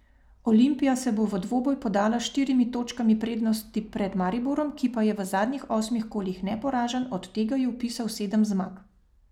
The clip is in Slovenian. Olimpija se bo v dvoboj podala s štirimi točkami prednosti pred Mariborom, ki pa je v zadnjih osmih kolih neporažen, od tega je vpisal sedem zmag.